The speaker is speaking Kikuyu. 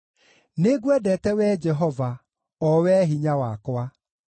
Nĩngwendete, Wee Jehova, o Wee hinya wakwa.